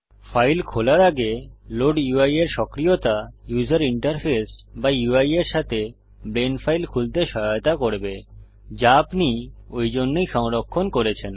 file খোলার আগে load UI এর সক্রিয়তা উসের ইন্টারফেস বা ইউআই এর সাথে ব্লেন্ড ফাইল খুলতে সহায়তা করবে যা আপনি ঐ জন্যেই সংরক্ষণ করেছেন